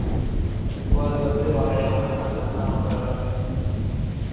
ஒம்போது பத்து வரைய வேணாம் அது வேணா அப்பறம் வரஞ்சுக்கலாம்